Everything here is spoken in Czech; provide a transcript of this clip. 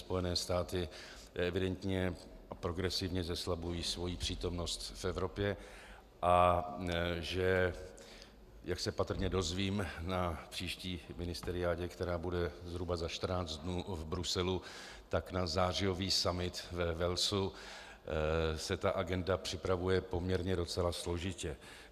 Spojené státy evidentně progresivně zeslabují svoji přítomnost v Evropě a že, jak se patrně dozvím na příští ministeriádě, která bude zhruba za 14 dnů v Bruselu, tak na zářijový summit ve Walesu se ta agenda připravuje poměrně docela složitě.